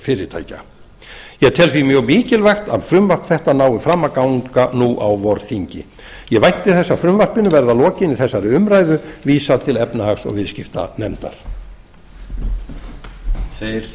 fyrirtækja ég tel því mjög mikilvægt að frumvarp þetta nái fram að ganga á vorþingi ég vænti þess að frumvarpinu verði að lokinni þessari umræðu vísað til efnahags og viðskiptanefndar